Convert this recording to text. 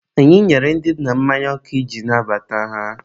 anyị nyere ndị nna mmanya ọkụ iji nabata ha.